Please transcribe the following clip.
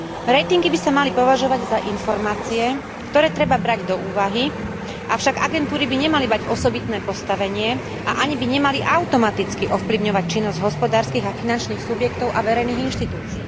Ratingy by sa mali považovať za informácie, ktoré treba brať do úvahy, avšak agentúry by nemali mať osobitné postavenie a ani by nemali automaticky ovplyvňovať činnosť hospodárskych a finančných subjektov a verejných inštitúcií.